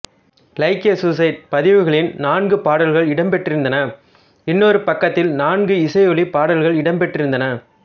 like a suicide பதிவுகளின் நான்கு பாடல்கள் இடம்பெற்றிருந்தன இன்னொரு பக்கத்தில் நான்கு இசையொலி பாடல்கள் இடம்பெற்றிருந்தன